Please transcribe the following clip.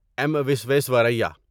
M Visvesvaraya